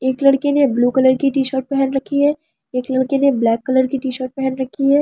एक लड़के ने ब्‍लू कलर की टी शर्ट पहन रखी है और एक लड़के ने ब्‍लैक कलर की टी शर्ट पहन रखी है ।